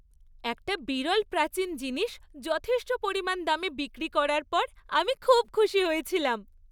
একটা বিরল প্রাচীন জিনিস যথেষ্ট পরিমাণ দামে বিক্রি করার পর আমি খুব খুশি হয়েছিলাম।